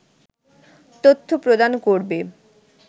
তথ্য প্রদান করবে